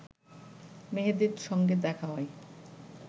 মেহেদীর সঙ্গে দেখা হয়